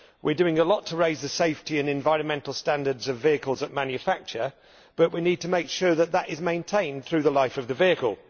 We are doing a lot to raise the safety and environmental standards of vehicles at manufacture, but we need to make sure that they are maintained through the life of the vehicle.